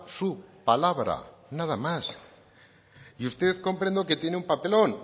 su palabra nada más y usted comprendo que tiene un papelón